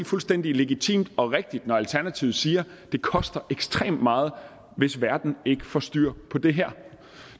fuldstændig legitimt og rigtigt når alternativet siger at det koster ekstremt meget hvis verden ikke får styr på det her